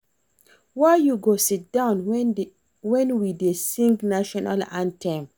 Why you go sit down wen we dey sing national anthem